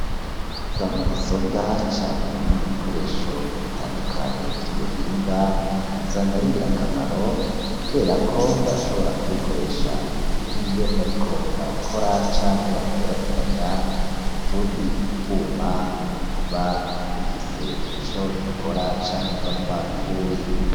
Za mudasobwa canke ibindi bikoresho bitandukanye vy'ubuhinga usanga ari ngirakamaro, kuberako barashobora kubikoresha nk'iyo bariko barakora canke baraterateranya utundi twuma tuba dufise ico dukora canke tuba twapfuye.